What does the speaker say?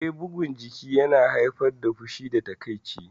Eh, bugun jiki yana haifar da fushi da takaici